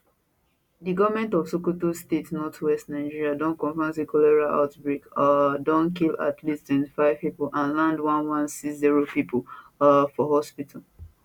di goment of sokoto state northwest nigeria don confam say cholera outbreak um don kill at least 25 pipo and land 1160 pipo um for hospital